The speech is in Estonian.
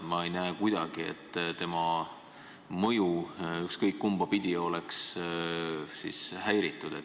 Ma ei näe kuidagi, et tema mõju ükskõik kumba pidi oleks häiritud.